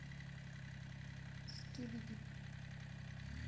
скибиди